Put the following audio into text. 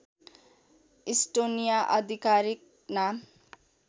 Estonia आधिकारिक नाम